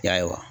Ya